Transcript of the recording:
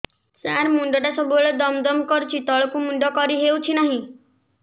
ସାର ମୁଣ୍ଡ ଟା ସବୁ ବେଳେ ଦମ ଦମ କରୁଛି ତଳକୁ ମୁଣ୍ଡ କରି ହେଉଛି ନାହିଁ